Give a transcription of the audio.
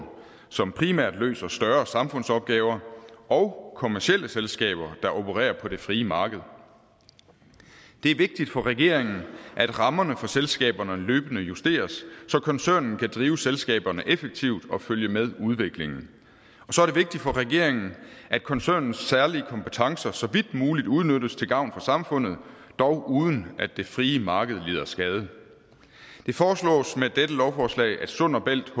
som primært løser større samfundsopgaver og kommercielle selskaber der opererer på det frie marked det er vigtigt for regeringen at rammerne for selskaberne løbende justeres så koncernen kan drive selskaberne effektivt og følge med udviklingen og så er det vigtigt for regeringen at koncernens særlige kompetencer så vidt muligt udnyttes til gavn for samfundet dog uden at det frie marked lider skade det foreslås med dette lovforslag at sund bælt